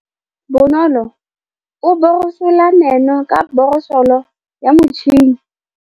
Bonolô o borosola meno ka borosolo ya motšhine.